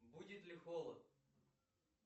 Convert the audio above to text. будет ли холод